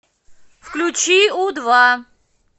включи у два